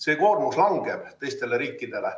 See koormus langeb teistele riikidele.